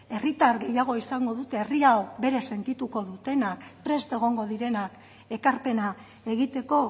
herritar gehiago izango dute herria hau bere sentituko dutenak prest egongo direnak ekarpena egiteko